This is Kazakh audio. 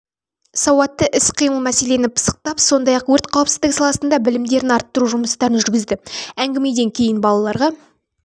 сауатты іс-қимыл мәселені пысықтап сондай-ақ өрт қауіпсіздігі саласында білімдерін арттыру жұмыстарын жүргізді әңгімеден кейін балаларға